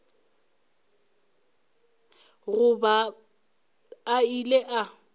go ba a ile a